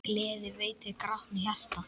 Gleði veitir grátnu hjarta.